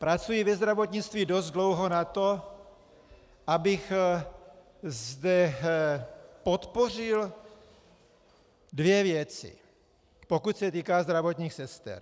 Pracuji ve zdravotnictví dost dlouho na to, abych zde podpořil dvě věci, pokud se týká zdravotních sester.